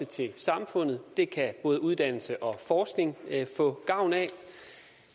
til samfundet det kan både uddannelse og forskning få gavn af